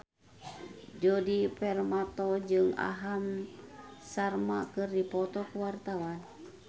Djoni Permato jeung Aham Sharma keur dipoto ku wartawan